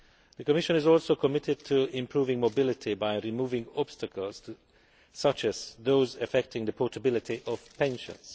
The Commission is also committed to improving mobility by removing obstacles, such as those affecting the portability of pensions.